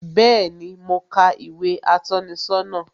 Bẹẹni, mo ka ìwé atọ́ni sọ́nà